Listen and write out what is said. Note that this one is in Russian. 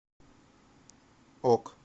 ок